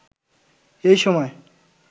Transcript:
এইসময়